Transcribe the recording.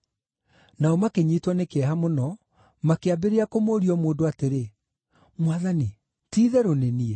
Nao makĩnyiitwo nĩ kĩeha mũno, makĩambĩrĩria kũmũũria o mũndũ atĩrĩ, “Mwathani, ti-itherũ nĩ niĩ?”